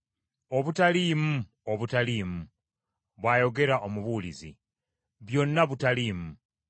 “Obutaliimu! Obutaliimu!” bw’ayogera Omubuulizi. Byonna butaliimu.